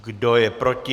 Kdo je proti?